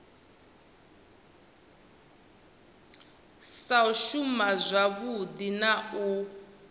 sa shuma zwavhui na u